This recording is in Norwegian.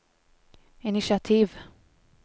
initiativ